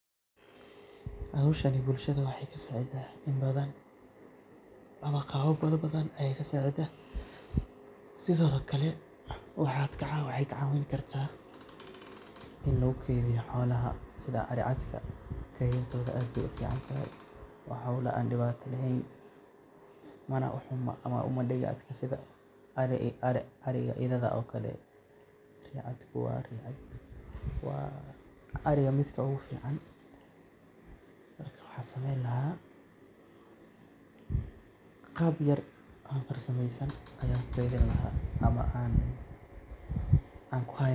Howshani bulshada waxaa ka saacida in badan ama qaaba bada badan ayaa ka saacida. Sidoo kale waxaay ka caawin kartaa in lugu kaydiyo xoolaha sida aricadka. Kaydintooda aad bay uficantahay. Waa howl aan dhibaata leheen mana uxuma ama uma dhega adka sida ari ariga idada ookale. Ricadku waa ricad, waa ariga midka ugu ficaan. Marka, waxaan samayn lahaa qaab yer oo farsamaysan ayaan ukaydin lahaa ama aan ku hayn lahaa.